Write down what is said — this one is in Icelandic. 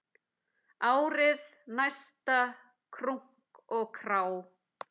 Árið næsta, krunk og krá!